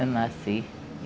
Eu nasci.